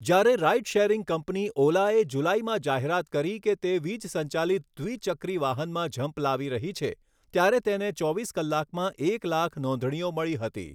જ્યારે ride sharing company ઓલાએ જુલાઈમાં જાહેરાત કરી કે તે વીજ સંચાલિત દ્વિ ચક્રી વાહનમાં ઝંપલાવી રહી છે, ત્યારે તેને ચોવીસ કલાકમાં એક લાખ નોંધણીઓ મળી હતી.